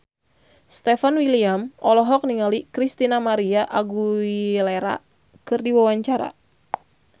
Stefan William olohok ningali Christina María Aguilera keur diwawancara